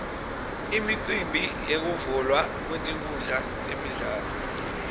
imicimbi yekuvulwa kwetinkhundla temidlalo